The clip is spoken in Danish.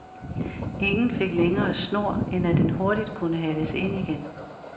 Ingen fik længere snor, end at den hurtigt kunne hales ind igen.